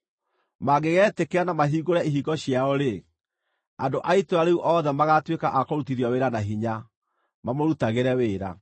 Mangĩgetĩkĩra na mahingũre ihingo ciao-rĩ, andũ a itũũra rĩu othe magaatuĩka a kũrutithio wĩra na hinya, mamũrutagĩre wĩra.